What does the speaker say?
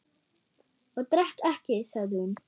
Ég drekk ekki, sagði hún.